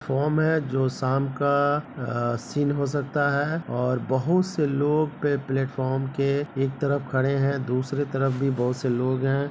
Form है जो शाम का अ सीन हो सकता है और बहुत से लोग पे प्लेटफार्म के एक तरफ खड़े हैं दूसरी तरफ भी बोहोत से लोग हैं।